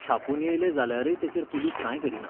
छापून येयलें जाल्यारय तेचेर पुलीस कांय करिना.